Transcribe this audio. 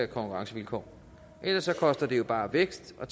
konkurrencevilkår ellers koster det jo bare vækst og